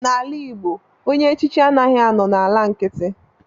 Na ala igbo ọnye echichi adighi anọ na ala nkiti.